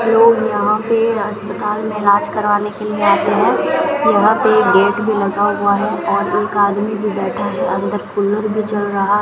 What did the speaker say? लोग यहां पे अस्पताल में इलाज करवाने के लिए आते हैं यहां पे गेट भी लगा हुआ है और एक आदमी भी बैठा है अंदर कूलर भी चल रहा --